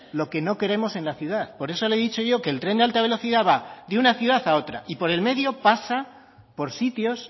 lo que no queremos en la ciudad por eso le he dicho yo que el tren de alta velocidad va de una ciudad a otra y por en medio pasa por sitios